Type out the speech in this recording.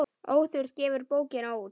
Óþurft gefur bókina út.